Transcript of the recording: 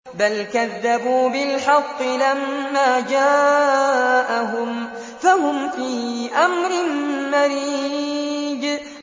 بَلْ كَذَّبُوا بِالْحَقِّ لَمَّا جَاءَهُمْ فَهُمْ فِي أَمْرٍ مَّرِيجٍ